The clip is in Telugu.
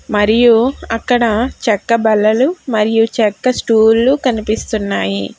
మరియు అక్కడ చెక్క బల్లలు మరియు చెక్క స్టూళ్లు కనిపిస్తున్నాయి.